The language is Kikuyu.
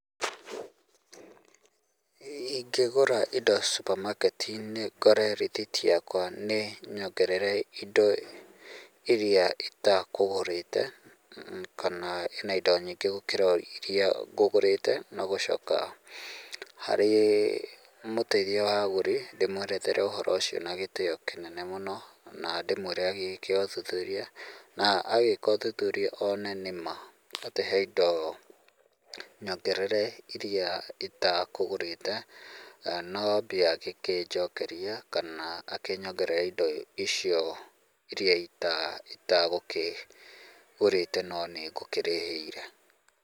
Ingĩgũra indo supermarket -inĩ, ngore rĩthiti yakwa nĩ nyongerere indo iria itakũgũrĩte, kana ĩna indo nyingĩ gũkĩra iria ngũgũrĩte, no gũcoka, harĩ mũteithia wa agũri na ndĩmwerethere ũhoro ũcio na gĩtĩo kĩnene mũno na ndĩmwĩre agĩke ũthuthuria, na agĩka ũthuthuria one nĩ ma atĩ he indo nyongerere iria itakũgũrĩte, no mbia angĩkĩnjokeria kana akĩnyongerere indo icio iria itagũkĩgũrĩte no nĩ ngũrĩhĩire.